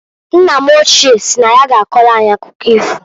Nna m ochie si na ya ga akọlụ anyị akụkọ ifo.